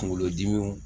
Kunkolodimiw